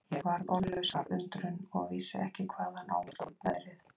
Ég varð orðlaus af undrun og vissi ekki hvaðan á mig stóð veðrið.